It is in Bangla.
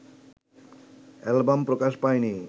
অ্যালবাম প্রকাশ পায়নি